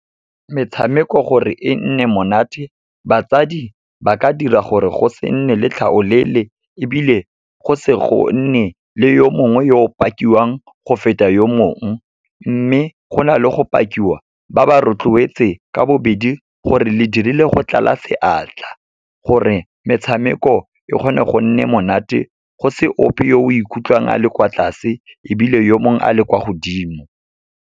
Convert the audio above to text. Metshameko gore e nne monate, batsadi ba ka dira gore go se nne le tlhaolele ebile go se go nne le yo mongwe yo pakiwang go feta yo mongwe. Mme, go na le go pakiwa, ba ba rotloetse ka bobedi gore le dirile go tlala seatla, gore metshameko e kgone go nne monate, go se ope yo o ikutlwang a le kwa tlase ebile yo mongwe a le kwa godimo.